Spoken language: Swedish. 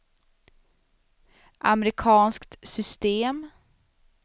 amerikanskt system